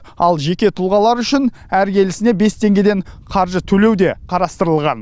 ал жеке тұлғалар үшін әр келісіне бес теңгеден қаржы төлеу де қарастырылған